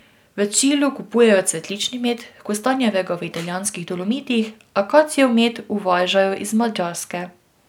V Čilu kupujejo cvetlični med, kostanjevega v italijanskih Dolomitih, akacijev med uvažajo iz Madžarske.